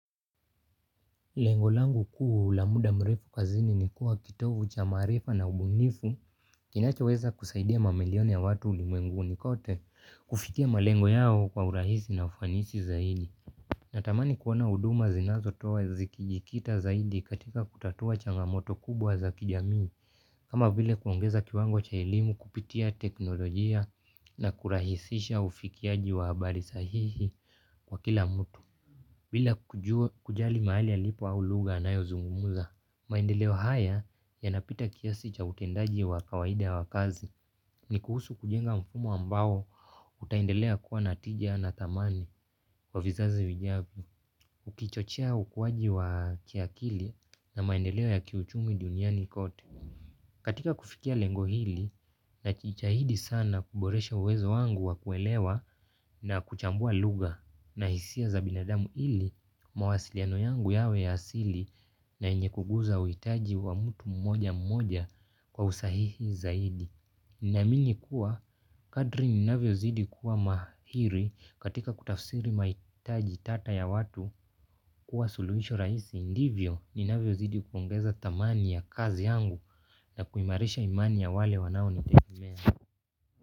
Lengo langu kuuu la muda mrefu kazini ni kuwa kitovu cha maarifa na ubunifu. Kinachoweza kusaidia mamilioni ya watu ulimwenguni kote kufikia malengo yao kwa urahisi na ufanisi zaidi. Natamani kuona huduma zinazo toa zikijikita zaidi katika kutatua changamoto kubwa za kijamii. Kama vile kuongeza kiwango cha elimu kupitia teknolojia na kurahisisha ufikiaji wa habari sahihi kwa kila mtu. Bila kujali mahali alipo au lugha anayo zungumuza, maendeleo haya ya napita kiasi cha utendaji wa kawaida wa kazi ni kuhusu kujenga mfumo ambao utaendelea kuwa na tija na thamani wa vizazi vijavyo. Ukichochea ukuaji wa kiakili na maendeleo ya kiuchumi duniani kote. Katika kufikia lengo hili najitahahidi sana kuboresha uwezo wangu wa kuelewa na kuchambua lugha na hisia za binadamu ili mawasiliano yangu yawe ya asili na yenye kuguza uhitaji wa mtu mmoja mmoja kwa usahihi zaidi. Naamini kuwa kadri ninavyo zidi kuwa mahiri katika kutafsiri mahitaji tata ya watu kuwa suluhisho raisi indivyo ninavyo zidi upongeza thamani ya kazi yangu na kuimarisha imani ya wale wanao nitegemea.